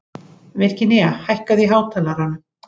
Virginía, hækkaðu í hátalaranum.